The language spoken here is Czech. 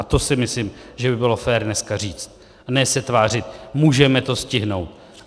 A to si myslím, že by bylo fér dneska říct, a ne se tvářit, můžeme to stihnout.